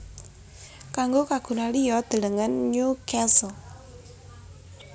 Kanggo kagunan liya delengen Newcastle